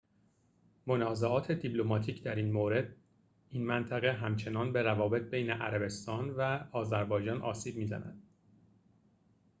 منازعات دیپلماتیک در مورد این منطقه همچنان به روابط بین ارمنستان و آذربایجان آسیب می‌زند